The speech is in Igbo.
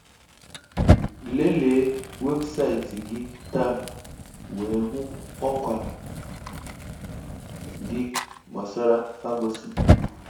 Léléé wébụsáịtị gị tàá wéé hụ ọ́kwà gị gbasàrà Ferguson